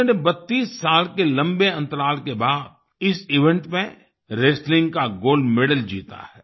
उन्होंने 32 साल के लंबे अंतराल के बाद इस इवेंट में रेस्टलिंग का गोल्ड मेडल जीता है